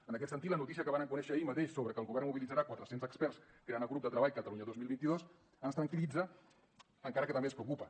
en aquest sentit la notícia que vàrem conèixer ahir mateix sobre que el govern mobilitzarà quatre cents experts i crearà el grup de treball catalunya dos mil vint dos ens tranquil·litza encara que també ens preocupa